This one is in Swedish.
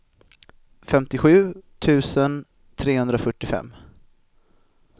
femtiosju tusen trehundrafyrtiofem